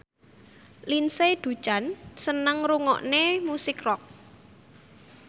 Lindsay Ducan seneng ngrungokne musik rock